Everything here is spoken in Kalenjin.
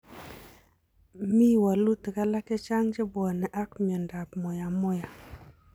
M i wolutik alak chechang che pwone ag miondap moyamoya.